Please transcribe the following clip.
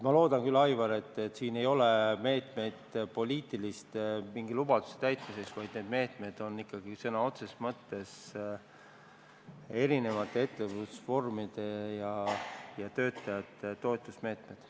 Ma loodan küll, Aivar, et siin ei ole meetmeid mingisuguste poliitiliste lubaduste täitmiseks, vaid need meetmed on ikka sõna otseses mõttes erinevate ettevõtlusvormide ja töötajate toetamiseks.